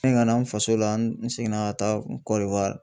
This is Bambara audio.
Me ka na n faso la n seginna ka taa Kɔdiwari